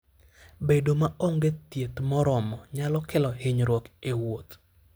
Bedo maonge thieth moromo nyalo kelo hinyruok e wuoth.